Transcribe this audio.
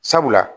Sabula